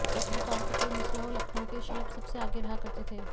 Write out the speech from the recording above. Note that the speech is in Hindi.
पत्रकारों का कोई मसला हो लखनऊ के शलभ सबसे आगे रहा करते थे